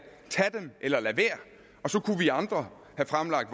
tag dem eller lad være og så kunne vi andre have fremlagt